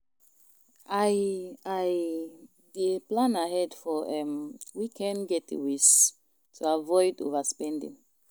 I i dey plan ahead for um weekend getaways to avoid overspending.